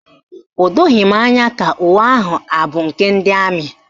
O doghi m anya ka uwe ahụ abụ nke ndị amị